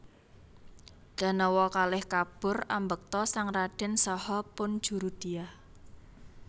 Danawa kalih kabur ambekta sang radèn saha pun Jurudyah